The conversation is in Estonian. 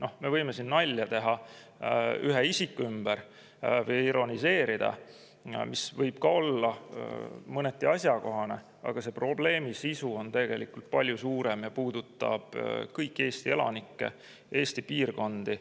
No me võime siin nalja teha ühe isiku ümber või ironiseerida, mis võib ka olla mõneti asjakohane, aga probleemi sisu on tegelikult palju suurem, see puudutab kõiki Eesti elanikke ja Eesti piirkondi.